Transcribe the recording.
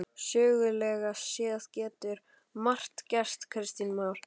Sögulega séð getur margt gerst Kristján Már?